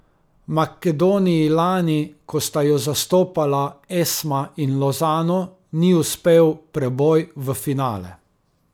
Makedoniji lani, ko sta jo zastopala Esma in Lozano, ni uspel preboj v finale.